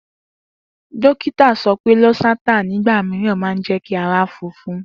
Dokita so wípé Losartan nígbà mìíràn máa njẹ kí ara funfun